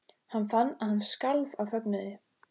Hann fann að hann skalf af fögnuði.